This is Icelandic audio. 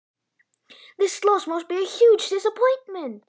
Þetta tap hlýtur að vera gífurleg vonbrigði?